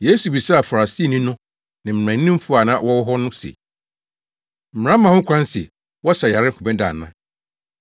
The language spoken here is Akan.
Yesu bisaa Farisifo no ne mmaranimfo a na wɔwɔ hɔ no se, “Mmara ma ho kwan sɛ wɔsa yare homeda ana?”